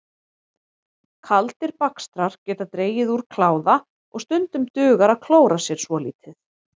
Kaldir bakstrar geta dregið úr kláða og stundum dugar að klóra sér svolítið.